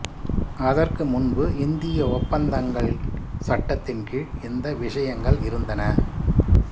அதற்கு முன்பு இந்திய ஒப்பந்தங்கள் சட்டத்தின்கீழ் இந்த விஷயங்கள் இருந்தன